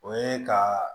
O ye ka